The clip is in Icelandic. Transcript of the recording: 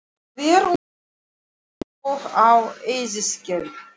Hver um sig eins og á eyðiskeri.